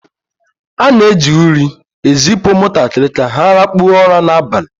A na-eji uri ezipụ ụmụntakịrị ka ha lakpuo ụra n'abalị